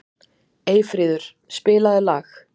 Eyfríður, spilaðu lag.